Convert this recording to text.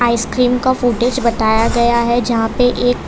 ice cream का footage बताया गया है जहां पे एक --